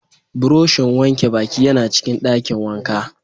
Buroshin wanke baki yana cikin dakin wanka.